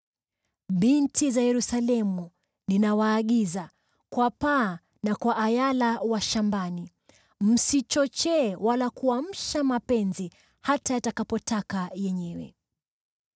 Binti za Yerusalemu, ninawaagiza kwa paa na kwa ayala wa shambani: Msichochee wala kuamsha mapenzi hata yatakapotaka yenyewe.